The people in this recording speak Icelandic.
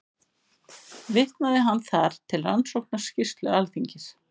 Vitnaði hann þar til Rannsóknarskýrslu Alþingis